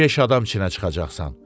Beş adam içinə çıxacaqsan.